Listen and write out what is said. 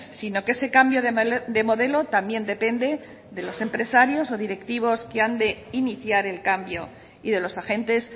sino que ese cambio de modelo también depende de los empresarios o directivos que han de iniciar el cambio y de los agentes